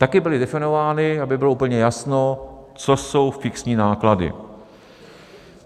Taky byly definovány, aby bylo úplně jasno, co jsou fixní náklady.